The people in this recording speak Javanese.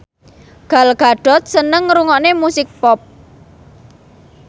Gal Gadot seneng ngrungokne musik pop